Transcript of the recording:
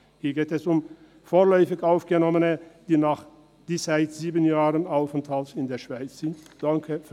Hier geht es um vorläufig Aufgenommene, die seit sieben Jahren Aufenthalt in der Schweiz haben.